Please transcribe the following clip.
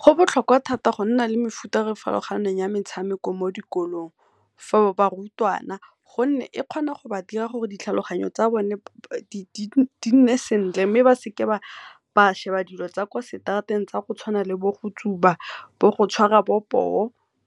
Go botlhokwa thata go nna le mefuta e e farologaneng ya metshameko mo dikolong, for barutwana gonne e kgona go ba dira gore ditlhaloganyo tsa bone di nne sentle, mme ba seke ba sheba dilo tsa kwa seterateng tsa go tshwana le bo go tsuba, bo go tshwara bo poo